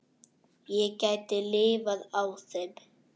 Ég gæti lifað á þeim.